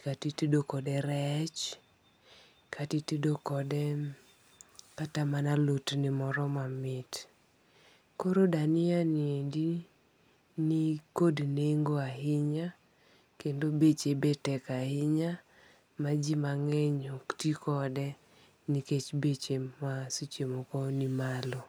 kata itedo kode rech, kata itedo kode [um]kata mana alotni moro mamit. Koro dania ni endi ni kod nengo ahinya kendo beche be tek ahinya, ma ji mang'eny ok tii kode nikech beche ma seche moko ni malo